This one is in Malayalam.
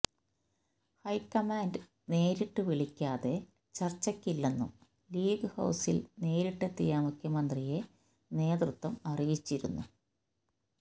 ഹൈക്കമാന്റ് നേരിട്ട് വിളിക്കാതെ ചര്ച്ചയ്ക്കില്ലെന്നും ലീഗ് ഹൌസില് നേരിട്ടെത്തിയ മുഖ്യമന്ത്രിയെ നേതൃത്വം അറിയിച്ചിരുന്നു